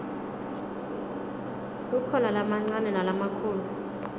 kukhona lamancane nalamakhulu